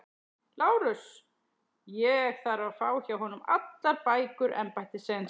LÁRUS: Ég þarf að fá hjá honum allar bækur embættisins.